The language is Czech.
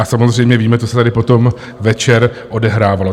A samozřejmě víme, co se tady potom večer odehrávalo.